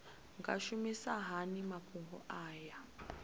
nga shumisa hani mafhumgo aya